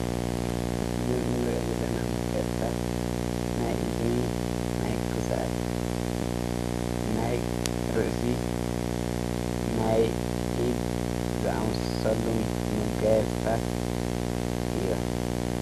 እዝ እምርዕ ምለና መጋያጽታት ናይ እዝኒ ናይ ክሳድ ናይ ርእሲ ናይ ኢድ ዝኣምሰሎ መጋየጽታት እዮ።